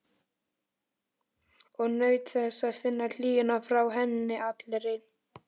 Og naut þess að finna hlýjuna frá henni allri.